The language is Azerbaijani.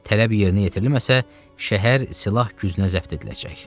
Tələb yerinə yetirilməsə, şəhər silah gücünə zəbt ediləcək.